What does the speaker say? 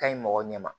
Ka ɲi mɔgɔ ɲɛ ma